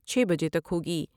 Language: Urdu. چھ بجے تک ہوگی ۔